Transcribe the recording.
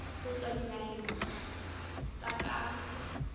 ho tswa dinaheng tsa ka